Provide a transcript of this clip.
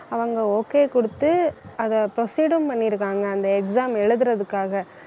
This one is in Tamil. அவங்க okay குடுத்து அதை proceed ம் பண்ணியிருக்காங்க அந்த exam எழுதறதுக்காக